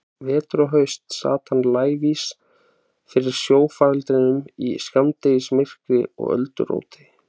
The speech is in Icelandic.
Vetur og haust sat hann lævís fyrir sjófarandanum í skammdegismyrkri og ölduróti.